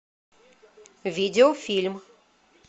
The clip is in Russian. видеофильм